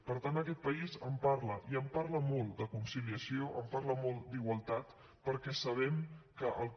per tant aquest país en parla i en parla molt de conciliació en parla molt d’igualtat perquè sabem que el que